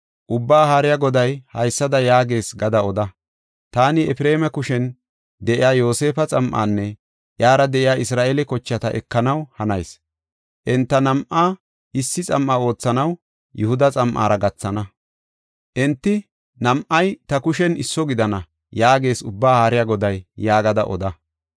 Ubbaa Haariya Goday haysada yaagees gada oda: taani Efreema kushen de7iya Yoosefa xam7anne iyara de7iya Isra7eele kochata ekanaw hanayis; enta nam7aa issi xam7a oothanaw, Yihuda xam7ara gathana. Enti nam7ay ta kushen isso gidana” yaagees Ubbaa Haariya Goday yaagada oda.